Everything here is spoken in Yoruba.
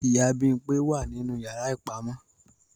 Ìyá Bimpé wa ninu yara ipamọ.